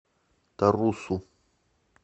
тарусу